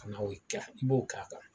Ka na o kɛ i b'o k'a kan